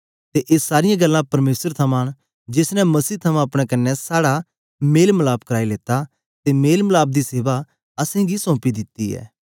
ते ए सारीयां गल्लां परमेसर थमां न जेस ने मसीह थमां अपने कन्ने साड़ा मेल मलाप कराई लेता ते मेल मलाप दी सेवा असेंगी सौंपी दित्ती ऐ